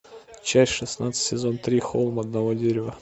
часть шестнадцать сезон три холм одного дерева